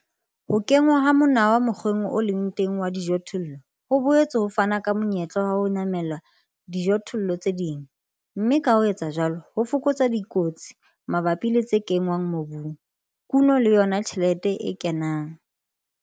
Ho kenngwa ha monawa mokgweng o leng teng wa dijothollo ho boetse ho fana ka monyetla wa ho namela dijothollong tse ding, mme ka ho etsa jwalo, ho fokotsa dikotsi mabapi le tse kenngwang mobung, kuno le yona tjhelete e kenang.